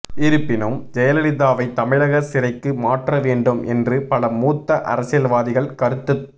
இருப்பினும் ஜெயலலிதாவை தமிழக சிறைக்கு மாற்ற வேண்டும் என்று பல மூத்த அரசியல்வாதிகள் கருத்துத்